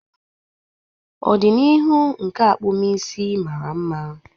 Ọdịnihu nke akpụmụisi mara mma.